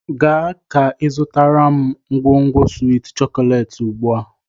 Gaa ka izụtara m u ngwugwu swiiti chokolééti ugbu a!